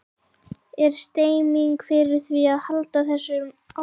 Er stemning fyrir því að halda þessu áfram?